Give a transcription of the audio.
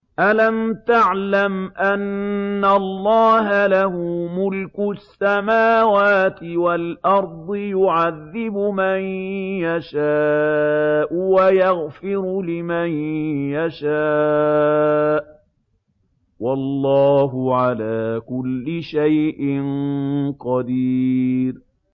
أَلَمْ تَعْلَمْ أَنَّ اللَّهَ لَهُ مُلْكُ السَّمَاوَاتِ وَالْأَرْضِ يُعَذِّبُ مَن يَشَاءُ وَيَغْفِرُ لِمَن يَشَاءُ ۗ وَاللَّهُ عَلَىٰ كُلِّ شَيْءٍ قَدِيرٌ